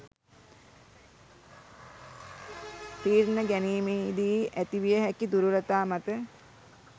තීරණ ගැනීමෙහිදී ඇතිවිය හැකි දුර්වලතා මත